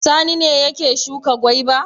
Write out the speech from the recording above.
Sani ne yake shuka gwaiba.